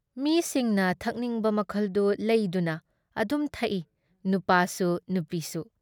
ꯃꯤꯁꯤꯡꯅ ꯊꯛꯅꯤꯡꯕ ꯃꯈꯜꯗꯨ ꯂꯩꯗꯨꯅ ꯑꯗꯨꯝ ꯊꯛꯏ ꯅꯨꯄꯥꯁꯨ ꯅꯨꯄꯤꯁꯨ ꯫